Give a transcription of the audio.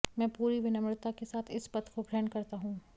मैं पूरी विनम्रता के साथ इस पद को ग्रहण करता हूं